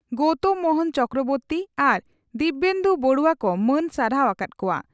ᱜᱚᱣᱛᱚᱢ ᱢᱚᱦᱚᱱ ᱪᱚᱠᱨᱚᱵᱚᱨᱛᱤ ᱟᱨ ᱫᱤᱣᱮᱱᱫᱩ ᱵᱚᱨᱩᱣᱟ ᱠᱚ ᱢᱟᱹᱱ ᱥᱟᱨᱦᱟᱣ ᱟᱠᱟᱫ ᱠᱚᱣᱟ ᱾